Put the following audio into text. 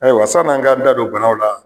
Ayiwa san n'an k'an da don banaw la